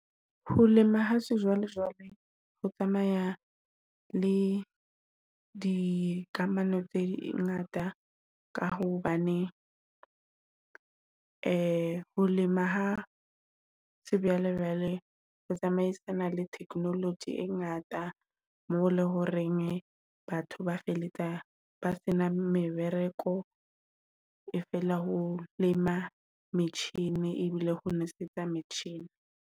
Ho lema ha sejwalejwale ho tsamaya le dikamano tse di ngata. Ka hobane ho lema ha ho tsamaisana le technology e ngata. Mo leng hore batho ba feletsa ba sena mebereko e fela ho lema metjhini e bile ho nosetsa metjhini.